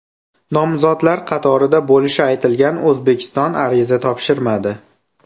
Nomzodlar qatorida bo‘lishi aytilgan O‘zbekiston ariza topshirmadi.